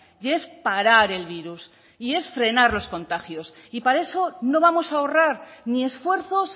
y es parar el virus y es frenar los contagios y para eso no vamos a ahorrar ni esfuerzos